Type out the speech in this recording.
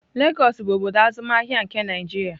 Lagọs bụ obodo azụmahịa nke Naịjirịa.